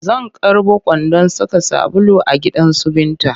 Zan karɓo kwandon saka sabulu a gidansu Binta